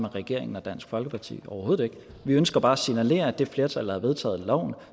regeringen og dansk folkeparti overhovedet ikke vi ønsker bare at signalere at det flertal der har vedtaget loven